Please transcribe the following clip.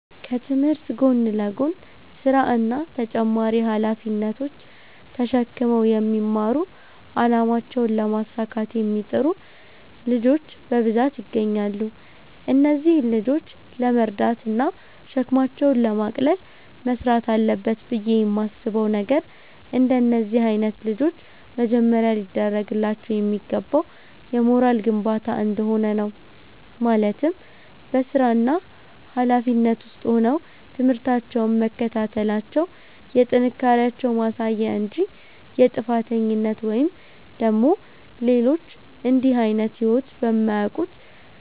ከትምህርት ጎን ለጎን ስራ እና ተጨማሪ ሃላፊነቶች ተሽክመው የሚማሩ አላማቸውን ለማሳካት የሚጥሩ ልጆች በብዛት ይገኛሉ። እነዚህን ልጆች ለመርዳት እና ሸክማቸውን ለማቅለል መስራት አለበት ብየ የማስበው ነገር፤ እንደነዚህ አይነት ልጆች መጀመሪያ ሊደርግላቸው የሚገባው የሞራል ግንባታ እንደሆነ ነው፤ ማለትም በስራና ሀላፊነት ውስጥ ሆነው ትምህርታቸውን መከታተላቸው የጥንካሬያቸው ማሳያ እንጂ የጥፋተኝነት ወይም ደግሞ ሌሎች እንድህ አይነት ህይወት በማያውቁት